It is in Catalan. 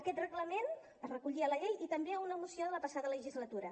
aquest reglament es recollia a la llei i també a una moció de la passada legislatura